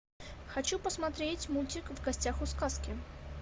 хочу посмотреть мультик в гостях у сказки